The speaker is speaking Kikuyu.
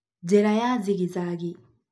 na njĩra ya zigizagi.